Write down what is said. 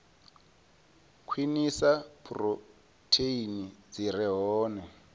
khwinisa phurotheini dzi re hone